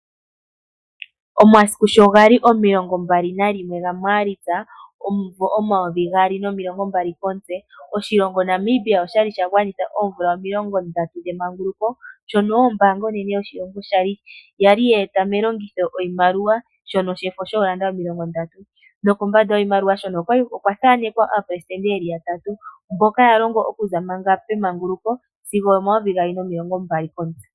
Omasiku sho gali omilongo mbali nalimwe gaMaalitsa momumvo omayovi gaali nomilongo mbali komutse oshilongo Namibia osha li sha gwanitha oomvula omilongo ndatu dhemanguloko, ombaanga onene yoshilongo oyali ya e ta melongitho oshimaliwa shefo shoolanda omilongo ndatu, nokambanda yoshimaliwa okwathanekwa aapresitende yeli ya tatu mbono yalongo okuza pemanguluko sigo omayovi gaali nomilongo mbali komutse.